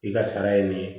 I ka sara ye nin ye